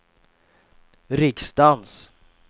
riksdagens